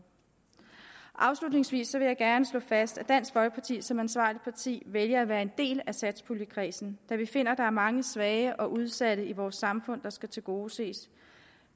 afslutningsvis vil jeg gerne slå fast at dansk folkeparti som ansvarligt parti vælger at være en del af satspuljekredsen da vi finder at der er mange svage og udsatte i vores samfund der skal tilgodeses